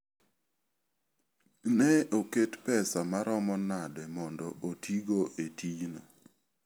Ne oket pesa maromo nade mondo otigo e tijno?